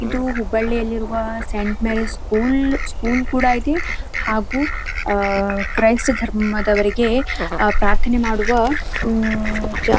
ಇದು ಹುಬ್ಬಳ್ಳಿ ಅಲ್ಲಿ ಇರುವ ಸೈನ್ಟ್ ಮೇರಿಸ್ ಸ್ಕೂಲ್ ಸ್ಕೂಲ್ ಕೂಡ ಅಯ್ತಿ ಹಾಗು ಕ್ರಯಿಸ್ತಾ ಧರ್ಮದವರಿಗೆ ಪ್ರಾರ್ಥನೆ ಮಾಡುವ --